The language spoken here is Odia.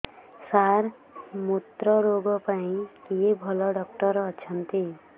ସାର ମୁତ୍ରରୋଗ ପାଇଁ କିଏ ଭଲ ଡକ୍ଟର ଅଛନ୍ତି